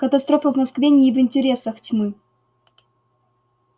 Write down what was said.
катастрофа в москве не в интересах тьмы